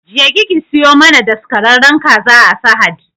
Jeki ki siyo mana daskararren kaza a sahad